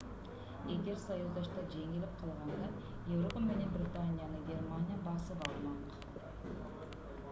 эгер союздаштар жеңилип калганда европа менен британияны германия басып алмак